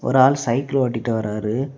ஒரு ஆள் சைக்கிள் ஓட்டிட்டு வராரு.